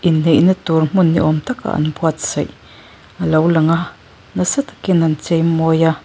neihna tur hmun ni awm taka an buatsaih a lo lang a nasa takin an chei mawi a.